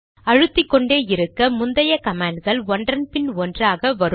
அழுத்திக்கொண்டே இருக்க முந்தைய கமாண்ட்கள் ஒன்றன் பின் ஒன்றாக வரும்